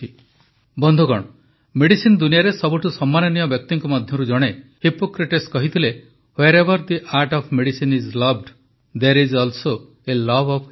ବନ୍ଧୁଗଣ ମେଡିସିନ୍ ଦୁନିଆରେ ସବୁଠୁ ସମ୍ମାନନୀୟ ବ୍ୟକ୍ତିଙ୍କ ମଧ୍ୟରୁ ଜଣେ ହିପ୍ପୋକ୍ରେଟ୍ସ କହିଥିଲେ wherever the art of medicine is loved there is also a love of humanity